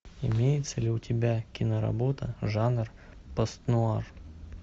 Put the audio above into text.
имеется ли у тебя киноработа жанр постнуар